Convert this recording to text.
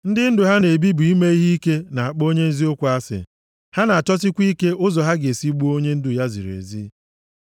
Ndị ndụ ha na-ebi bụ ime ihe ike na-akpọ onye eziokwu asị, ha na-achọsikwa ike ụzọ ha ga-esi gbuo onye ndụ ya ziri ezi.